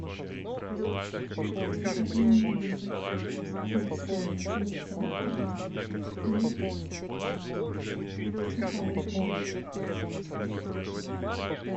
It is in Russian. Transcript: закажи мне пепси без сахара и сухарики